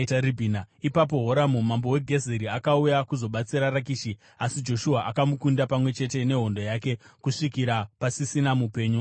Ipapo Horamu mambo weGezeri akauya kuzobatsira Rakishi, asi Joshua akamukunda pamwe chete nehondo yake, kusvikira pasisina mupenyu akasara.